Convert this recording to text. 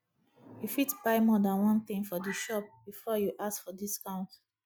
you fit buy more than one thing for di shop before you ask for discount